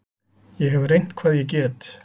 Ég hef reynt hvað ég get.